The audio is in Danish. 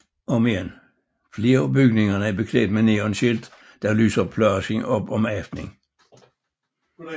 Flere af bygningerne er beklædt med neonskilte der lyser pladsen op om aften